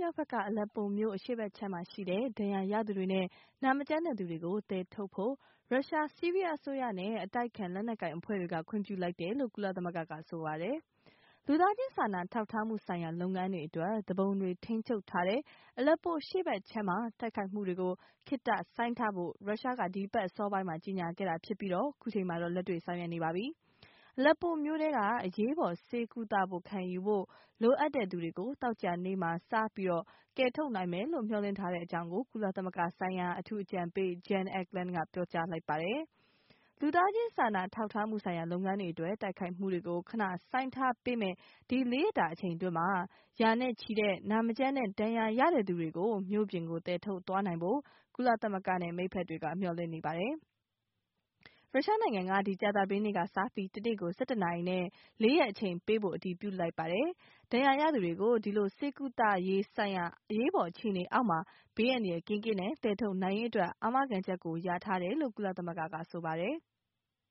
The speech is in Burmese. မြောက်ဘက်က Aleppo မြို့အရှေ့ခြမ်းမှာရှိတဲ့ ဒဏ်ရာရသူတွေနဲ့နာမကျန်းတဲ့ သူတွေကို သယ်ထုတ်ဖို့ရုရှား ၊ ဆီးရီးယားအစိုးရ နဲ့ အတိုက်အခံ လက်နက်ကိုင်အဖွဲ့တွေက ခွင့်ပြုလိုက်တယ်လို့ ကုလသမဂ္ဂက က ဆိုပါတယ်။ လူသားချင်းစာနာထောက်ထားမှုဆိုင်ရာ လုပ်ငန်းတွေအတွက် သူပုန်တွေထိမ်းချုပ် ထားတဲ့ Aleppo အရှေ့ဘက်ခြမ်းမှာ တိုက်ခိုက်မှုတွေ ခေတ္တရပ်ဆိုင်းထားဖို့ ရုရှား က ဒီအပတ်အစောပိုင်းမှာ ကြေညာခဲ့တာဖြစ်ပြီး အခုချိန်မှာတော့ လက်တွေ့ဆောင်ရွက်နေပါပြီ။ အလက်ပို မြို့ထဲက အရေးပေါ် ဆေးကုသမှု ခံယူဖို့ လိုအပ်တဲ့ သူတွေကို သောကြာနေ့မှာ စပြီး ကယ်ထုတ် နိုင်မယ်လို့ မျှော်လင့်ထား တဲ့အကြောင်း ကုလသမဂ္ဂ ဆိုင်ရာ အမေရိကန် အထူးအကြံပေး Jan Egeland က ပြောကြား လိုက်ပါတယ်။ လူသားချင်းစာနာထောက်ထားမှုဆိုင်ရာ လုပ်ငန်းတွေအတွက် တိုက်ခိုက်မှုတွေကို ခဏ ဆိုင်းထားပေးမယ့် ဒီ ၄ ရက်တာအချိန်တွင်းမှာ ရာနဲ့ချီတဲ့ နာမကျန်းတဲ့၊ ဒဏ်ရာရတဲ့ သူတွေကို မြို့ပြင်ကို သယ်ထုတ်သွားနိုင်ဖို့ကုလသမဂ္ဂနဲ့မိတ်ဖက်တွေက မျှော်လင့်နေပါတယ်။ Russia နိုင်ငံက ဒီ ကြာသပတေးနေ့ကစပြီး တစ်နေ့ကို ၁၁ နာရီနဲ့ ၄ ရက်အချိန်ပေးဖို့ အတည်ပြုလိုက်ပါတယ်။ဒဏ်ရာရသူတွေကို ဒီလို ဆေးကုသရေး ဆိုင်ရာ အရေးပေါ်အခြေအနေအောက်မှာ ဘေးအန္တရာယ် ကင်းကင်းနဲ့ သယ်ထုတ်နိုင်ရေး အတွက် အာမခံချက်ကို ရထားတယ်လို့ ကုလသမဂ္ဂက ဆိုပါတယ်။